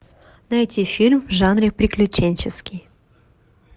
найти фильм в жанре приключенческий